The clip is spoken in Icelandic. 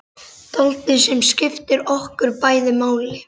Dáldið sem skiptir okkur bæði máli.